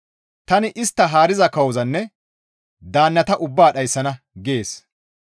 Tani istta haariza kawozanne daannata ubbaa dhayssana» gees.